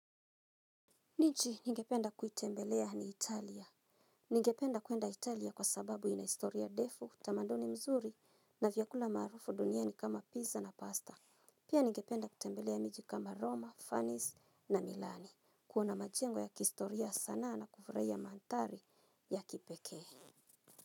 Miji nige penda kuitembelea ni Italia. Nige penda kuenda Italia kwa sababu ina historia defu, tamanduni mzuri na vyakula marufu duniani kama pizza na pasta. Pia nigependa kutembelea miju kama Roma, Funnies na Milani. Kuona majengo ya kihistorie sana na kufraia mandhari ya kipekee.